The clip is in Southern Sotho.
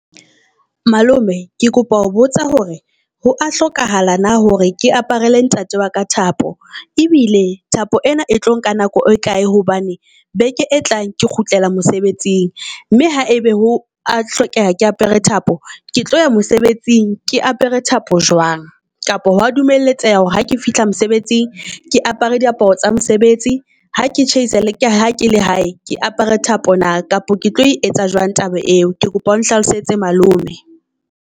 Malome ke kopa ho botsa hore ho a hlokahala na hore ke aparele ntate wa ka thapo, e bile thapo ena e tlo nka nako e kae hobane beke e tlang ke kgutlela mosebetsing. Mme ha ebe ho a hlokeha ke apere thapo ke tlo ya mosebetsing ke apere thapo jwang? Kapo ho a dumeletseha hore ha ke fihla mosebetsing ke apere diaparo tsa mosebetsi ha ke chaisa, ka ha ke la hae ke apere thapo na? Kapa ke tlo e etsa jwang taba eo, ke kopa o nhlalosetse malome.